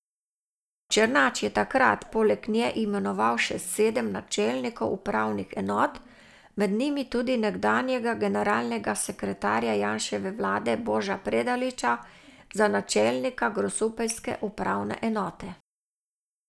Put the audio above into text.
Černač je takrat poleg nje imenoval še sedem načelnikov upravnih enot, med njimi tudi nekdanjega generalnega sekretarja Janševe vlade Boža Predaliča za načelnika grosupeljske upravne enote.